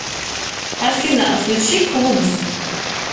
афина включи клубз